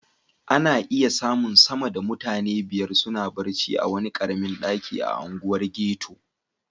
Ana iya samun sama da mutane biyar suna barci a wani karamin daki a unguwar ghetto.